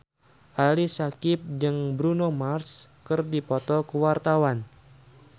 Ali Syakieb jeung Bruno Mars keur dipoto ku wartawan